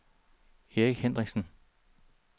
Erik Hendriksen